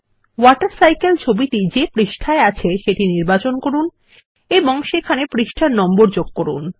water cycle ছবিটি যে পাতায় আছে সেটি নির্বাচন করুন এবং সেখানে পৃষ্ঠার নম্বর যোগ করুন